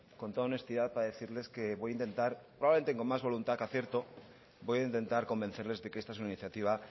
con toda honestidad para decirles que voy a intentar probablemente con más voluntad que acierto voy a intentar convencerles de que esta es una iniciativa